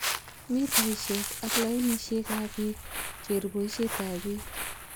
Mitaisiek ak lainisiek ab beek, keer boisietab beek.